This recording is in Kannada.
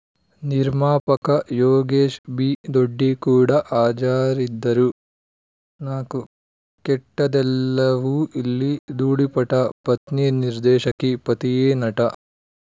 ನಿರ್ಮಾಪಕ ಯೋಗೇಶ್‌ ಬಿ ದೊಡ್ಡಿ ಕೂಡ ಹಾಜರಿದ್ದರು ನಾಲ್ಕು ಕೆಟ್ಟದ್ದೆಲ್ಲವೂ ಇಲ್ಲಿ ಧೂಳಿಪಟ ಪತ್ನಿ ನಿರ್ದೇಶಕಿ ಪತಿಯೇ ನಟ